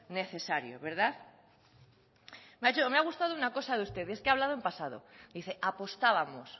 necesario verdad me ha gustado una cosa de usted y es que ha hablado en pasado dice apostábamos